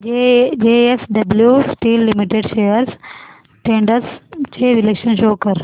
JSW steel limited shares trends चे विश्लेषण show कर